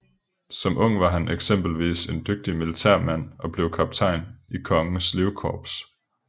Som ung var han eksempelvis en dygtig militærmand og blev kaptajn i Kongens Livkorps